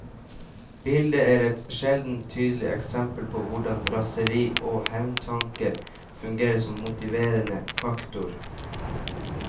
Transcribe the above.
Bildet er et sjeldent tydelig eksempel på hvordan raseri og hevntanker fungerer som motiverende faktor.